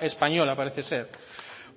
española parece ser